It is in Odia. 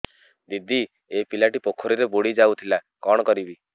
ଦିଦି ଏ ପିଲାଟି ପୋଖରୀରେ ବୁଡ଼ି ଯାଉଥିଲା କଣ କରିବି